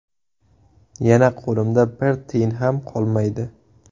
Yana qo‘limda bir tiyin ham qolmaydi.